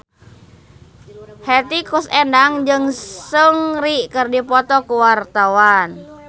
Hetty Koes Endang jeung Seungri keur dipoto ku wartawan